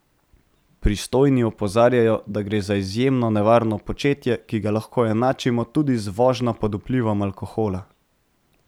Pristojni opozarjajo, da gre za izjemno nevarno početje, ki ga lahko enačimo tudi z vožnjo pod vplivom alkohola.